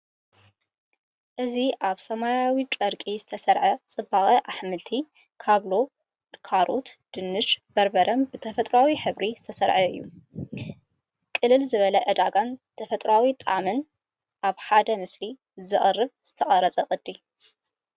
እዚ ኣብ ሰማያዊ ጨርቂ ዝተሰርዐ ጽባቐ ኣሕምልቲ፡ ካብሎ፡ ካሮት፡ ድንሽን በርበረን ብተፈጥሮኣዊ ሕብሪ ዝተሰርዐ እዩ። ቅልል ዝበለ ዕዳጋን ተፈጥሮኣዊ ጣዕምን ኣብ ሓደ ምስሊ ዘቕርብ ዝተጸረየ ቅዲ።